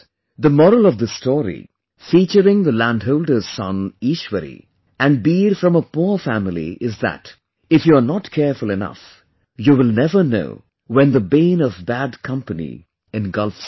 The moral of this story featuring the landholder's son Eeshwari and Beer from a poor family is that if you are not careful enough, you will never know when the bane of bad company engulfs you